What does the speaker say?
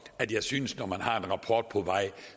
at jeg synes at når man har en rapport på vej